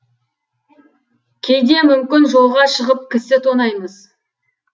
кейде мүмкін жолға шығып кісі тонаймыз